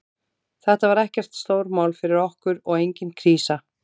Þetta var ekkert stórmál fyrir okkur og engin krísa.